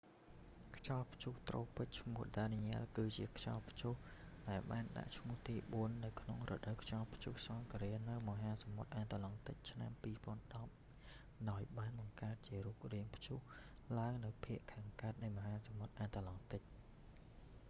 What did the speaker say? ខ្យល់ព្យុះត្រូពិចឈ្មោះ danielle ជាខ្យល់ព្យុះដែលបានដាក់ឈ្មោះទីបួននៅក្នុងរដូវខ្យល់ព្យុះសង្ឃរានៅមហាសមុទ្រអាត្លង់តិចឆ្នាំ2010 ដោយបានបង្កើតជារូបរាងព្យុះឡើងនៅភាគខាងកើតនៃមហាសមុទ្រអាត្លង់ទិក